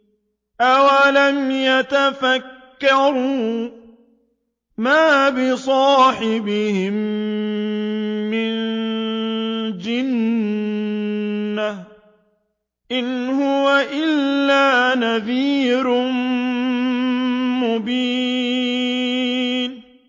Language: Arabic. أَوَلَمْ يَتَفَكَّرُوا ۗ مَا بِصَاحِبِهِم مِّن جِنَّةٍ ۚ إِنْ هُوَ إِلَّا نَذِيرٌ مُّبِينٌ